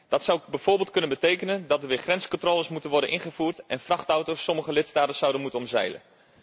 Dat zou bijvoorbeeld kunnen betekenen dat er weer grenscontroles moeten worden ingevoerd en dat vrachtauto's sommige lidstaten zouden moeten omzeilen.